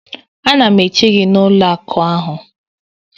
Ana m eche gị n'ụlọ akụ ahụ